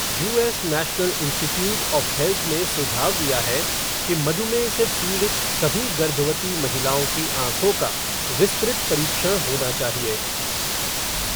US National Institute of Health ने सुझाव दिया है कि मधुमेह से पीड़ित सभी गर्भवती महिलाओं की आँखों का विस्तृत परीक्षण होना चाहिए।